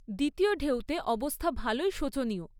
দ্বিতীয় ঢেউতে অবস্থা ভালোই শোচনীয়।